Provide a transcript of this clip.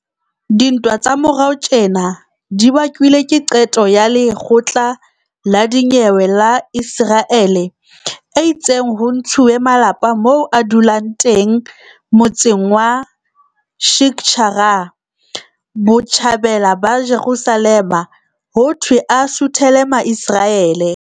Dintwa tsa morao tjena di bakilwe ke qeto ya lekgotla la dinyewe la Iseraele e itseng ho ntshuwe malapa moo a dulang teng motseng wa Sheikh Jarrah, Botjhabela ba Jerusalema, hothwe a suthele Maiseraele.